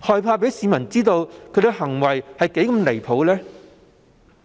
害怕讓市民知道他們的行為是多麼的離譜？